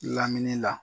Lamini la